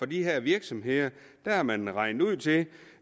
de her virksomheder har har man regnet ud til at